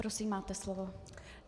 Prosím, máte slovo.